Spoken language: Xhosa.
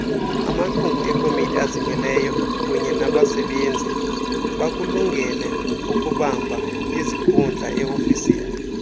amalunguekomitiazimeleyo kunyenabasebenzibakulungeleukubambaizikhundlae ofisini